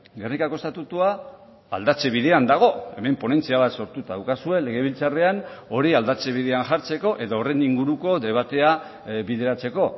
gernikako estatutua aldatze bidean dago hemen ponentzia bat sortuta daukazue legebiltzarrean hori aldatze bidean jartzeko edo horren inguruko debatea bideratzeko